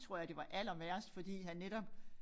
Tror jeg det var allerværst fordi han netop